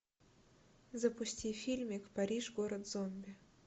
запусти фильмик париж город зомби